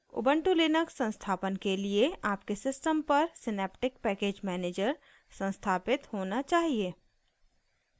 Ubuntu Linux संस्थापन के लिए आपके सिस्टम पर सिनेप्टिक पैकेज मैनेजर संस्थापित होना चाहिए